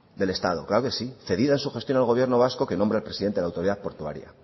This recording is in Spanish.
del estado claro que sí cedidas en su gestión al gobierno vasco que nombra al presidente a la autoridad portuaria